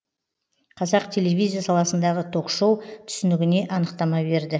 қазақ телевизия саласындағы ток шоу түсінігіне анықтама берді